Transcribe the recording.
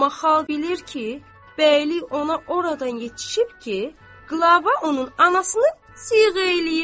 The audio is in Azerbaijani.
Amma xalq bilir ki, bəylik ona oradan yetişib ki, Qlava onun anasını siğə eləyib.